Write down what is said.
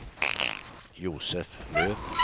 Josef Löf